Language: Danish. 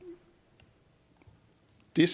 de